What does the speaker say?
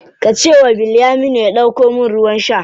Ka ce wa Bilyaminu ya ɗauko min ruwan sha.